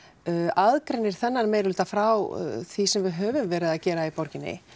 aðgreinir þennan meirihluta frá því sem við höfum verið að gera í meiririhluta